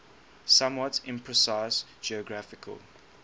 somewhat imprecise geographical